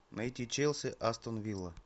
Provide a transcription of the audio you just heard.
найти челси астон вилла